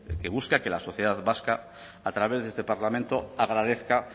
que busca que la sociedad vasca a través de este parlamento agradezca